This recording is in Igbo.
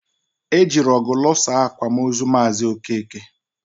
E jiri ọgụ lụsaa akwamozu maazi Okeke